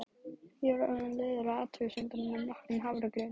Ég var orðin leiðari á þessum athugasemdum en nokkrum hafragraut.